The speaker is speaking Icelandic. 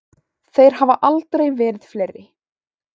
Þeir hafa aldrei verið fleiri.